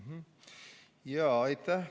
Aitäh!